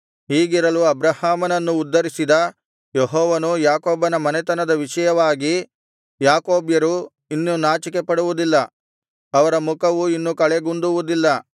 ಹೀಗಿರಲು ಅಬ್ರಹಾಮನನ್ನು ಉದ್ಧರಿಸಿದ ಯೆಹೋವನು ಯಾಕೋಬನ ಮನೆತನದ ವಿಷಯವಾಗಿ ಯಾಕೋಬ್ಯರು ಇನ್ನು ನಾಚಿಕೆಪಡುವುದಿಲ್ಲ ಅವರ ಮುಖವು ಇನ್ನು ಕಳೆಗುಂದುವುದಿಲ್ಲ